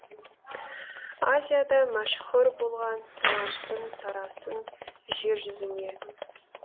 азияда мәшһүр болған талантың тарасын жер жүзіне